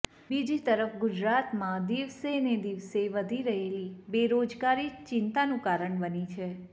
બીજી તરફ ગુજરાતમાં દિવસેને દિવસે વધી રહેલી બેરોજગારી ચિંતાનું કારણ બની છે